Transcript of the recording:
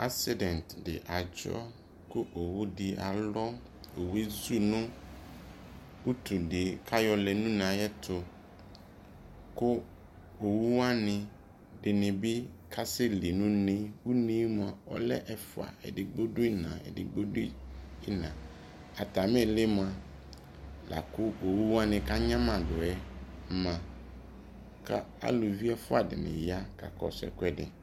accident di adzɔ ko owu di alɔ owue ezu no utu de ko ayɔlɛ no une ayɛto ko owu wane edini bi kasɛ sɛ li no une une moa ɔlɛ ɛfoa edigbo do ina, edigbo do ina atame ili moa lako owu wane ko anyamadoɛ ma ko aluvi ɛfoa dini ya kakɔso ɛkoɛdi